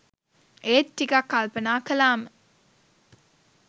ඒත් ටිකක් කල්පනා කළාම